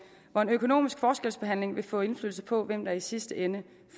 hvor en økonomisk forskelsbehandling vil få indflydelse på hvem der i sidste ende